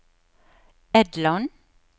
Edland